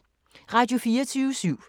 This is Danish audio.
Radio24syv